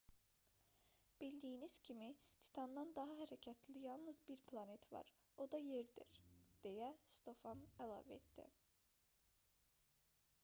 bildiyimiz kimi titandan daha hərəkətli yalnız bir planet var o da yerdir deyə stofan əlavə etdi